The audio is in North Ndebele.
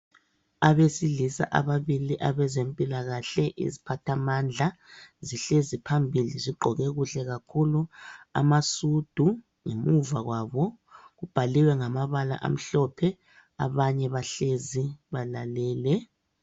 Abesilisa ababili abezempilakahle iziphathamandla zihlezi phambili zigqoke kuhle kakhulu amasudu ngemuva kwabo kubhaliwe ngamabala amhlophe abanye bahlezi balalele.